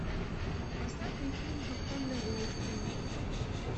поставь мне фильм капкан для золушки